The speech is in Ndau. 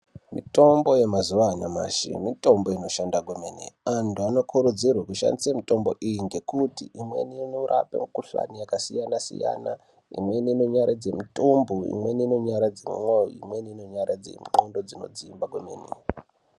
Mitombo yemazuva anyamashi mitombo inoshanda kwemene antu anokurudzirwa kushandisa mitombo iyi ngekuti imweni inorapa mikuhlani yakasiyana siyana. Imweni inonyaradza mitumbu. Imweni inonyaradza mwoyo. Imweni inonyaradze ndxondo dzinodzimba kwemene.